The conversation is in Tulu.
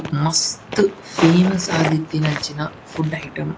ಮಸ್ತ್ ಫೇಮಸ್ ಆದಿತ್ತಿನಂಚಿನ ಫುಡ್ ಐಟಮ್ --